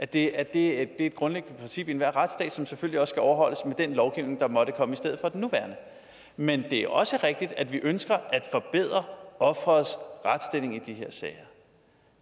det er et grundlæggende princip i enhver retsstat som selvfølgelig også skal overholdes med den lovgivning der måtte komme i stedet for den nuværende men det er også rigtigt at vi ønsker at forbedre offerets retsstilling i de her sager